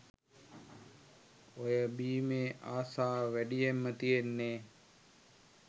ඔය බීමේ ආශාව වැඩියෙන්ම තියෙන්නේ